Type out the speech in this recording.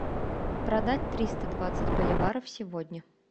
продать триста двадцать боливаров сегодня